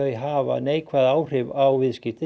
hafa neikvæð áhrif á viðskipti